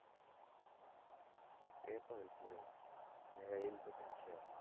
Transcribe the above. એ પણ છે marriage important છે.